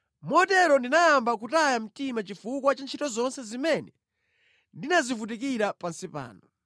Motero ndinayamba kutaya mtima chifukwa cha ntchito zonse zimene ndinazivutikira pansi pano.